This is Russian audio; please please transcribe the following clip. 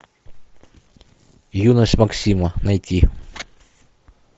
юность максима найти